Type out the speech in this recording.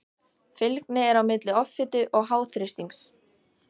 Fylgni er á milli offitu og háþrýstings.